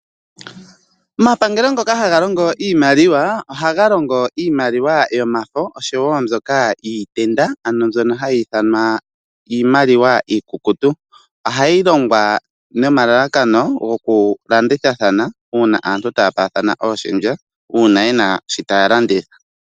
Omapangelo ngoka haga longo iimaliwa ohaga longo iimaliwa yomafo oshowo mbyoka yiitenda ano mbyono hayi ithanwa iimaliwa iikukutu ohayi longwa nomalalakano gokulandithathana uuna aantu taya paathana ooshendja uuna ye na shoka taya landitha.